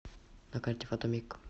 на карте фотомиг